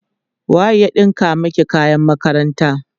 waye ya ɗinka maki kayan makaranta?